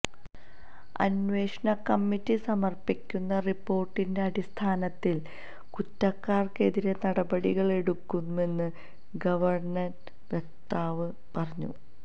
അന്വേഷണ കമ്മിറ്റി സമർപ്പിക്കുന്ന റിപ്പോർട്ടിന്റെ അടിസ്ഥാനത്തിൽ കുറ്റക്കാർക്കെതിരെ നടപടികളെടുക്കുമെന്ന് ഗവർണറേറ്റ് വക്താവ് പറഞ്ഞു